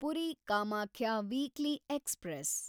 Puri Kamakhya weekly express